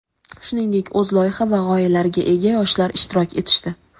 shuningdek o‘z loyiha va g‘oyalariga ega yoshlar ishtirok etishdi.